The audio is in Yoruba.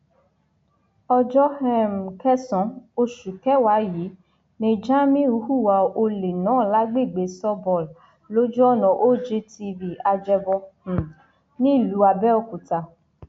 ọjọ um kẹsànán oṣù kẹwàá yìí ni jamiu hùwà ọlẹ náà lágbègbè sawball lójú ọnà og tv ajẹbọ um nílùú àbẹòkúta